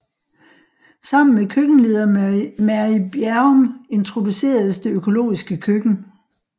Sammen med køkkenleder Mary Bjerrum introduceredes det økologiske køkken